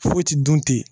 Foyi ti dun ten